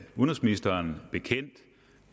udenrigsministeren bekendt